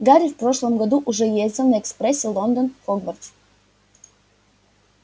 гарри в прошлом году уже ездил на экспрессе лондон хогвартс